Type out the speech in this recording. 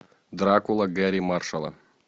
дракула гэрри маршалла